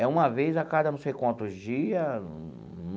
É uma vez a cada não sei quantos dia.